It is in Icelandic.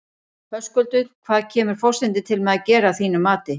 Höskuldur, hvað kemur forsetinn til með að gera að þínu mati?